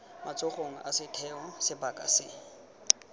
matsogong a setheo sebaka se